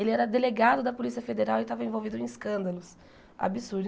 Ele era delegado da Polícia Federal e estava envolvido em escândalos absurdos.